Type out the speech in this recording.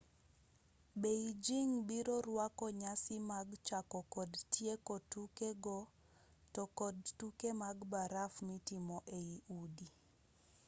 beijing biro rwako nyasi mag chako kod tieko tuke go to kod tuke mag baraf mitimo ei udi